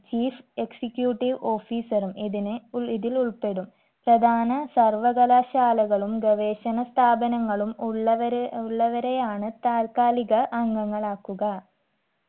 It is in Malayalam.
chief executive officer ഉം ഇതിനെ ഉൾ ഇതിലുൾപ്പെടും പ്രധാന സർവകലാശാലകളും ഗവേഷണ സ്ഥാപനങ്ങളും ഉള്ളവരെ ഉള്ളവരെയാണ് താൽക്കാലിക അംഗങ്ങളാക്കുക